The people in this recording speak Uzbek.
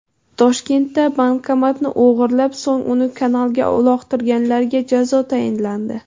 Toshkentda bankomatni o‘g‘irlab, so‘ng uni kanalga uloqtirganlarga jazo tayinlandi.